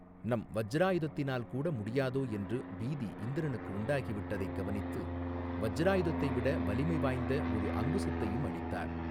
நம் வஜ்ராயுதத்தினால் கூட முடியாதோ என்று பீதி இந்திரனுக்கு உண்டாகி விட்டதைக் கவனித்து வஜ்ராயுதத்தைவிட வலிமை வாய்ந்த ஒரு அங்குசத்தையும் அளித்தார்.